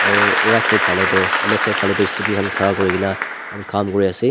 right side falae tu left side tu student khan khara kurikae na kam kuriase.